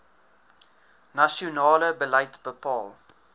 nasionale beleid bepaal